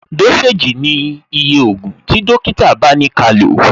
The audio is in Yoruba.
Dósèjì ni iye ògùn tí dókítà bá ni kálò